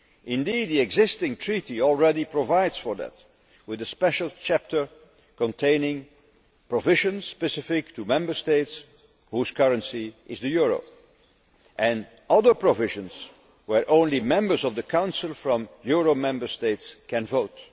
Indeed, the existing Treaty already provides for that with a special chapter containing provisions specific to Member States whose currency is the euro and other provisions where only members of the Council from euro Member States can vote.